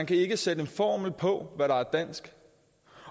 kan sætte en formel på hvad der er dansk